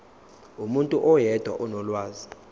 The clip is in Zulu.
umuntu oyedwa onolwazi